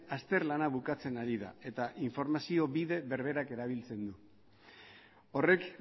azter lana bukatzen ari da eta informazio bide berdera erabiltzen du horrek